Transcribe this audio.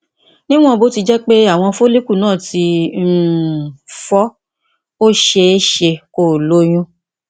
níwọn bó ti jẹ pé àwọn follicle náà ti um fọ ó ṣeé ṣe kó o lóyún